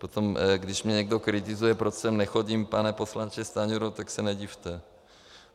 Potom když mě někdo kritizuje, proč sem nechodím, pane poslanče, Stanjuro, tak se nedivte.